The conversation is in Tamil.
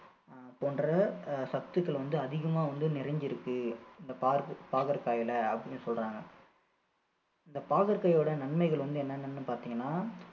அஹ் போன்ற அஹ் சத்துக்கள் வந்து அதிகமா வந்து நிறைஞ்சிருக்கு இந்த பாகற்~ பாகற்காயில அப்படின்னு சொல்றாங்க இந்த பாகற்காயோட நன்மைகள் வந்து என்னென்னு பார்த்தீங்கன்னா